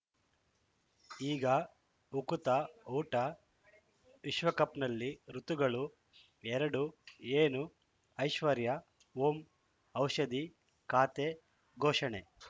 ಈಗ ಉಕುತ ಊಟ ವಿಶ್ವಕಪ್‌ನಲ್ಲಿ ಋತುಗಳು ಎರಡು ಏನು ಐಶ್ವರ್ಯಾ ಓಂ ಔಷಧಿ ಖಾತೆ ಘೋಷಣೆ